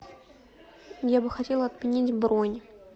я бы хотела отменить бронь